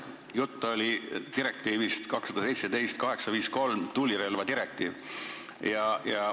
Jutt oli direktiivist 2017/853 ehk tulirelvadirektiivist.